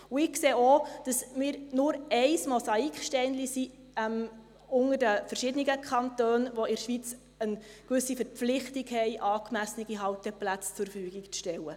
Ich sehe auch, dass wir bloss ein Mosaiksteinchen sind innerhalb der verschiedenen Kantone, die in der Schweiz eine gewisse Verpflichtung haben, angemessene Halteplätze zur Verfügung zu stellen.